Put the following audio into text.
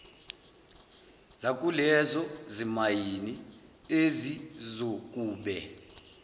zakulezo zimayini ezizokube